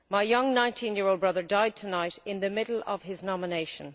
My young 19 year old brother died tonight in the middle of his nomination.